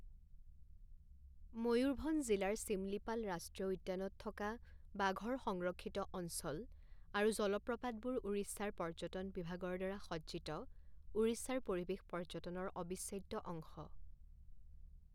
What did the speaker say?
ময়ূৰভঞ্জ জিলাৰ চিমলিপাল ৰাষ্ট্ৰীয় উদ্যানত থকা বাঘৰ সংৰক্ষিত অঞ্চল আৰু জলপ্ৰপাতবোৰ উৰিষ্যাৰ পৰ্যটন বিভাগৰ দ্বাৰা সজ্জিত উৰিষ্যাৰ পৰিৱেশ পৰ্যটনৰ অবিচ্ছেদ্য অংশ।